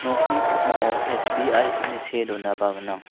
nokni pakmao S_B_I ine see donaba gnang.